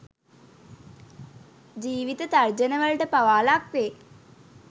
ජීවිත තර්ජන වලට පවා ලක් වෙයි